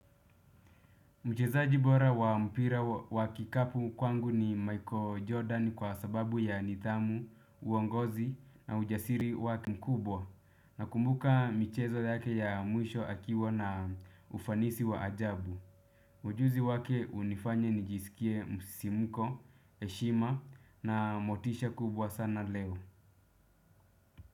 Mchezaji bora wa mpira wa kikapu kwangu ni Michael Jordan kwa sababu ya nidhamu, uongozi na ujasiri wake mkubwa nakumbuka michezo yake ya mwisho akiwa na ufanisi wa ajabu. Ujuzi wake hunifanya nijisikie msisimuko, heshima na motisha kubwa sana leo.